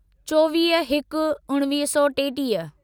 चोवीह हिक उणिवीह सौ टेटीह